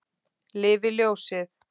Lifi ljósið!